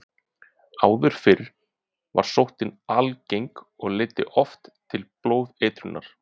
Áður fyrr var sóttin algeng og leiddi oft til blóðeitrunar.